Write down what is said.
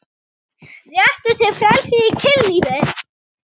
Réttur til frelsis í kynlífi